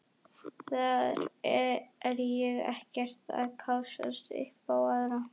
Þar er ég ekkert að kássast upp á aðra.